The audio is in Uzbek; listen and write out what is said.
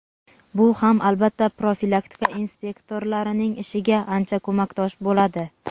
Bu ham albatta profilaktika inspektorlarining ishiga ancha ko‘makdosh bo‘ladi.